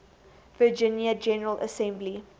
virginia general assembly